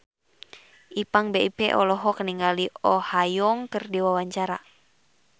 Ipank BIP olohok ningali Oh Ha Young keur diwawancara